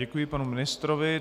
Děkuji panu ministrovi.